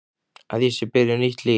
Að ég sé byrjuð nýtt líf.